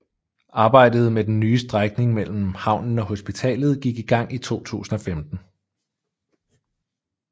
Arbejdet med den nye strækning mellem havnen og hospitalet gik i gang i 2015